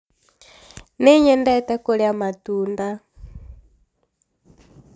nĩnyendete kũria matunda